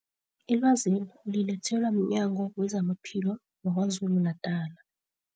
Ilwazeli ulilethelwa mNyango wezamaPhilo wa-KwaZulu-Natala.